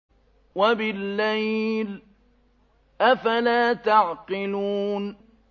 وَبِاللَّيْلِ ۗ أَفَلَا تَعْقِلُونَ